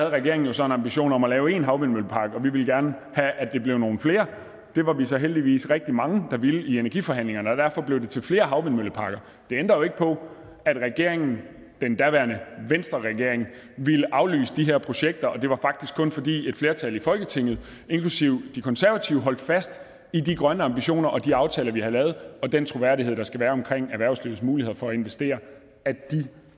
regeringen jo så en ambition om at lave en havvindmøllepark og vi ville gerne have at det blev nogle flere det var vi så heldigvis rigtig mange der ville i energiforhandlingerne og derfor blev det til flere havvindmølleparker det ændrer jo ikke på at regeringen den daværende venstreregering ville aflyse de her projekter og det var faktisk kun fordi et flertal i folketinget inklusive de konservative holdt fast i de grønne ambitioner og de aftaler vi havde lavet og den troværdighed der skal være omkring erhvervslivets muligheder for at investere at de